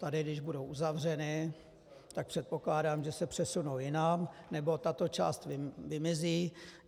Tady když budou uzavřeny, tak předpokládám, že se přesunou jinam nebo tato část vymizí.